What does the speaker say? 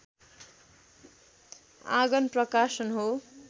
आँगन प्रकाशन हो